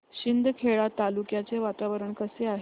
शिंदखेडा तालुक्याचे वातावरण कसे आहे